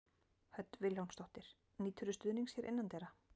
Hödd Vilhjálmsdóttir: Nýturðu stuðnings hér innandyra?